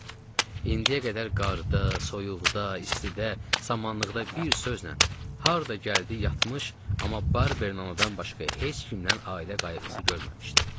İndiyə qədər qarda, soyuqda, istidə, samanlıqda bir sözlə harda gəldi yatmış, amma Barber anadan başqa heç kimdən ailə qayğısı görməmişdim.